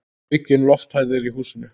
Aukin lofthæð er í húsinu.